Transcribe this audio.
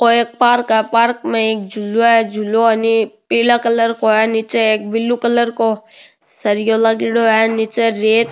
ओ एक पार्क है पार्क में एक झुला है झूलो है नी पिला कलर को है निचे एक ब्लू कलर को सरियों लागेड़ो है नीच रेत --